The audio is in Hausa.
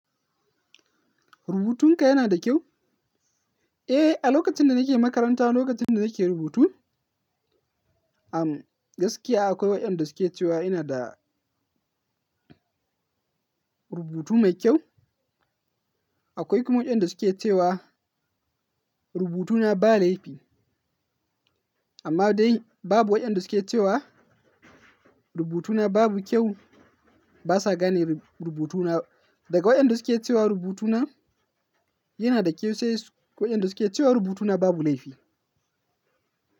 Rubutunka yana da kyau? Eh, a lokacin da nake makaranta, lokacin da nake rubutu, am gaskiya akwai waɗanda suke cewa ina da rubutu mai kyau. Akwai kuma waɗanda suke cewa rubutuna ba laifi. Amma dai babu waɗanda suke cewa rubutuna babu kyau. Ba sa gane rubutuna. Daga waɗanda suke cewa rubutuna yana da kyau sai, waɗanda suke cewa rubutuna babu laifi.